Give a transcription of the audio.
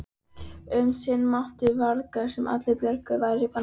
Um sinn mátti virðast sem allar bjargir væru bannaðar.